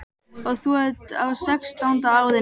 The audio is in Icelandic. Og þú ert á sextánda árinu.